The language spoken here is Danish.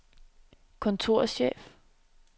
kontorchef